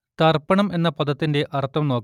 തർപ്പണം എന്ന പദത്തിന്റെ അർത്ഥം നോക്കാം